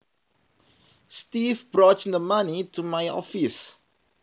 Steve brought the money to my office